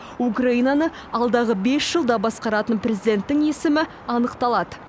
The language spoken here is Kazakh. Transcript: украинаны алдағы бес жылда басқаратын президенттің есімі анықталады